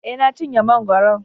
E, Na cinye mangwaron.